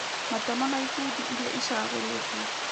Matemo na ikundi iria icagũrĩtwo.